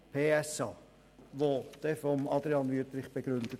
Dieser wird von Adrian Wüthrich begründet.